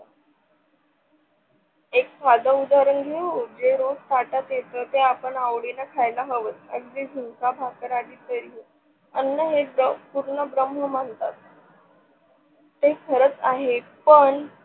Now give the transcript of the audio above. एक साधं उदाहरण घेऊ जे रोज ताटात येत ते आपण अवडीन खायला हव. अगदी झुणका भाकर आली तरीही अन्न ही पूर्ण ब्रम्ह म्हणतात ते खरंच आहे पन